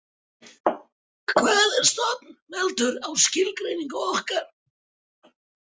Hvað er stofn veltur á skilgreiningu okkar.